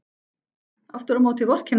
Aftur á móti vorkenna þér allir.